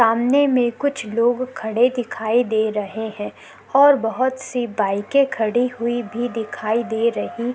सामने में कुछ लोग खड़े दिखाई दे रहे है और बहोत सी बाइके खड़ी हुई भी दिखाई दे रही--